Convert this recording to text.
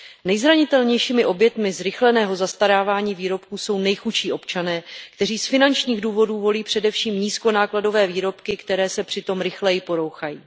Nejzranitelnějšími oběťmi zrychleného zastarávání výrobků jsou nejchudší občané, kteří z finančních důvodů volí především nízkonákladové výrobky, které se přitom rychleji porouchají.